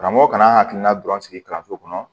Karamɔgɔ kana an hakilina dɔrɔn sigi kalanso kɔnɔ